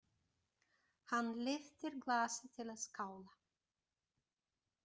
Hann lyftir glasi til að skála.